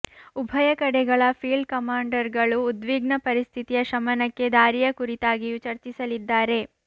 ಉಭಯ ಕಡೆಗಳ ಫೀಲ್ಡ್ ಕಮಾಂಡರ್ಗಳು ಉದ್ವಿಗ್ನ ಪರಿಸ್ಥಿತಿಯ ಶಮನಕ್ಕೆ ದಾರಿಯ ಕುರಿತಾಗಿಯೂ ಚರ್ಚಿಸಲಿದ್ದಾರೆ